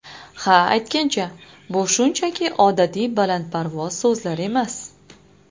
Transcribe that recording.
Ha, aytgancha, bu shunchaki odatiy balandparvoz so‘zlar emas.